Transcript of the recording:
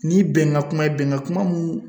Ni bɛnkan kuma ye bɛnkan kuma mun